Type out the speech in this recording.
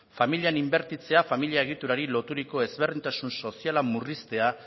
familian inbertitzea familia egiturari loturiko ezberdintasun soziala murriztea